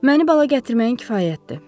Məni bala gətirməyin kifayətdir.